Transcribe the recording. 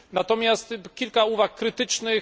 Natomiast kilka uwag krytycznych.